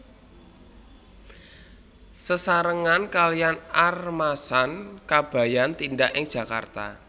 Sesarengan kaliyan Armasan Kabayan tindak ing Jakarta